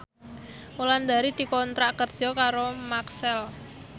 Wulandari dikontrak kerja karo Maxell